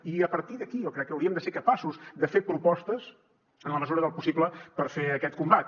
i a partir d’aquí jo crec que hauríem de ser capaços de fer propostes en la mesura del possible per fer aquest combat